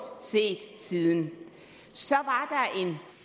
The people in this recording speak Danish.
set siden så